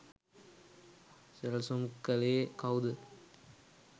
සැලසුම් කලේ කව්ද